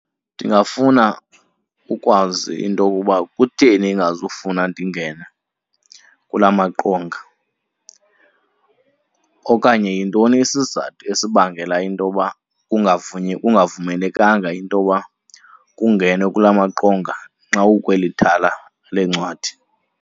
Ndingafuna ukwazi into yokuba kutheni ingazufuna ndingene kula maqonga, okanye yintoni isizathu esibangela intoba kungavumelekanga intoba kungenwe kula maqonga nxa ukweli thala leencwadi.